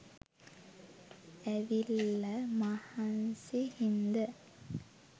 ඇවිල්ල මහන්සි හින්ද